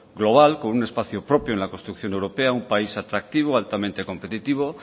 global con un espacio propio en la construcción europea un país atractivo altamente competitivo